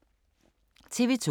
TV 2